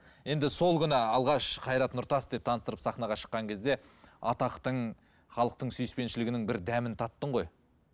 енді сол күні алғаш қайрат нұртас деп таныстырып сахнаға шыққан кезде атақтың халықтың сүйіспеншілігінің бір дәмін таттың ғой